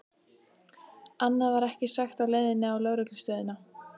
Annað var ekki sagt á leiðinni á lögreglustöðina.